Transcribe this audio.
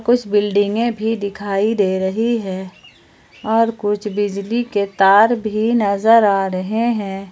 कुछ बिल्डिंगे में भी दिखाई दे रही है और कुछ बिजली के तार भी नजर आ रहे हैं।